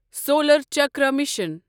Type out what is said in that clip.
solar Chakra mission